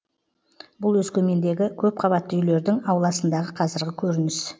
бұл өскемендегі көпқабатты үйлердің ауласындағы қазіргі көрініс